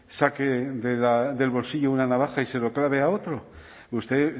saque del bolsillo una navaja y se lo clave a otro usted